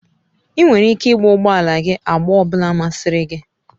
Ị nwere ike igba ụgbọ ala gị agba ọ bụla masịrị gị.